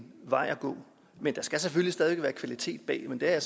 vej at gå men der skal selvfølgelig stadig være kvalitet bag men det er